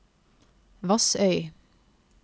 Vassøy